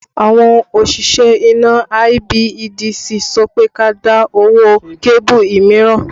Àwọn òṣìṣẹ́ iná IBEDC sọ pé kí a dá owó kébù mìíràn